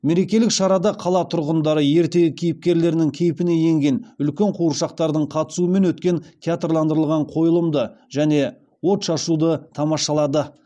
мерекелік шарада қала тұрғындары ертегі кейіпкерлерінің кейпіне енген үлкен қуыршақтардың қатысуымен өткен театрландырылған қойылымды және отшашуды тамашалады